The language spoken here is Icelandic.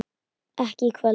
ekki í kvöld.